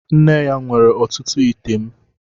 Nne ya nwere ọtụtụ ite m